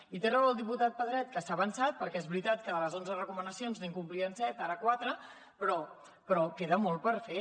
i té raó el diputat pedret que s’ha avançat perquè és veritat que de les onze recomanacions n’incomplien set ara quatre però queda molt per fer